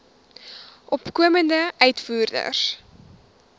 opkomende uitvoerders